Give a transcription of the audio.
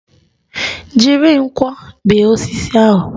Jiri nkwọ bee osisi ahụ!